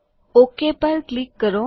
okay પર click કરો